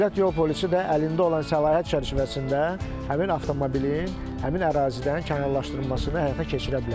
Dövlət yol polisi də əlində olan səlahiyyət çərçivəsində həmin avtomobilin həmin ərazidən kənarlaşdırılmasını həyata keçirə bilər.